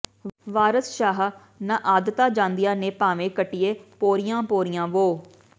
ਵਾਰਸ ਸ਼ਾਹ ਨਾ ਆਦਤਾਂ ਜਾਂਦੀਆਂ ਨੇ ਭਾਂਵੇਂ ਕੱਟੀਏ ਪੋਰੀਆਂ ਪੋਰੀਆਂ ਵੋ